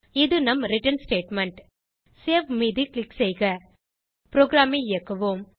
இது நம் return statement இப்போது சேவ் மீது க்ளிக் செய்க ப்ரோகிராமை இயக்குவோம்